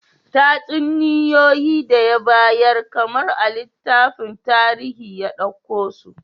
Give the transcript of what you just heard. Tatsuniyoyi da ya bayar kamar a littafin tarihi ya dauko su